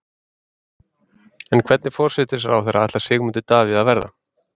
En hvernig forsætisráðherra ætlar Sigmundur Davíð að verða?